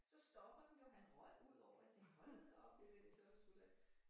Så stopper den jo han røg udover jeg tænkte hold da op det så sgu da